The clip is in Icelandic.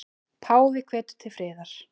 Páfi hvetur til friðar